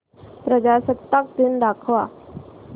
प्रजासत्ताक दिन दाखव